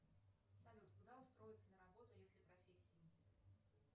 салют куда устроиться на работу если профессии нет